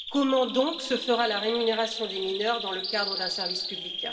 Comment donc se fera la rémunération des mineurs dans le cadre d'un service public?